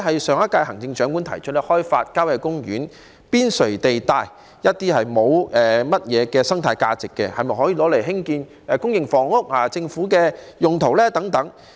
上一屆行政長官提出開發郊野公園邊陲地帶內一些沒有太多生態價值的土地，用作興建公營房屋、政府用途等設施。